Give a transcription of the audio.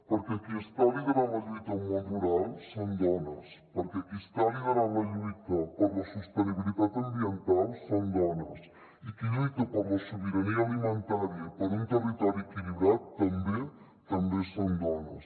perquè qui està liderant la lluita al món rural són dones perquè qui està liderant la lluita per la sostenibilitat ambiental són dones i qui lluita per la sobirania alimentària i per un territori equilibrat també també són dones